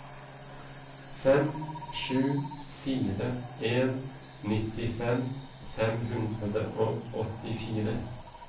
fem sju fire en nittifem fem hundre og åttifire